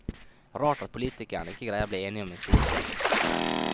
Rart at politikerne ikke greier å bli enige om en slik sak.